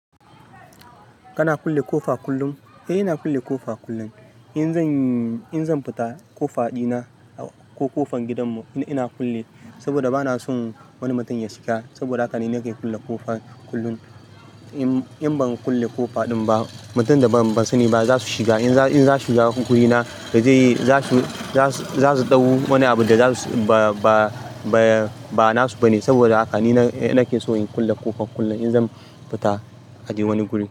Kana kulle kofa kullum? Eh, ina kulle kofa kullum. In zan, in zan fita kofa dina ko kofan gidanmu ina kulle saboda ba na son wani mutum ya shiga. Saboda haka ne nake kulle kofa kullum. In ban kulle kofa ba, mutanen da ban sani ba za su shiga. In za su shiga wurina za su ɗau wani abu da ba nasu ba ne. Saboda haka ne nake so in kulle kofa kullum in zan fita adai wani guri.